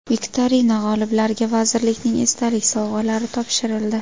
Viktorina g‘oliblariga vazirlikning esdalik sovg‘alari topshirildi.